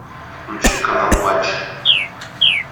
включи канал матч